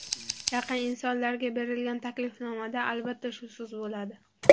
Yaqin insonlarga berilgan taklifnomada albatta, shu so‘z bo‘ladi.